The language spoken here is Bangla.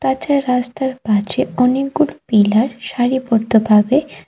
কাঁচা রাস্তার পাছে অনেকগুলো পিলার সারিবদ্ধভাবে--